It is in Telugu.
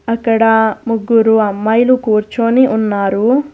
అక్కడ ముగ్గురు అమ్మాయిలు కూర్చుని ఉన్నారు.